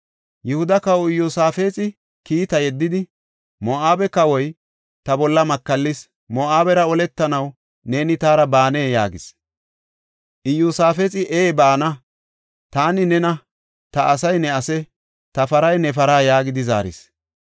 Yihuda kawa Iyosaafexi kiita yeddidi, “Moo7abe kawoy ta bolla makallis; Moo7abera oletanaw neeni taara baanee?” yaagis. Iyosaafexi, “Ee baana; taani nena; ta asay ne ase; ta paray ne para yaagidi” zaaris.